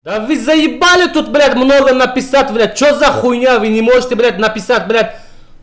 да вы заебали тут блядь много написать блядь что за хуйня вы не можете блядь написать брат